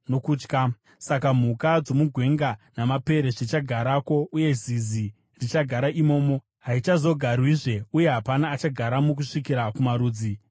“Saka mhuka dzomugwenga namapere zvichagarako, uye zizi richagara imomo. Haichazogarwizve, uye hapana achagaramo kusvikira kumarudzi namarudzi.